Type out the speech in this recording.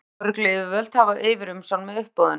Bandarísk lögregluyfirvöld hafa yfirumsjón með uppboðinu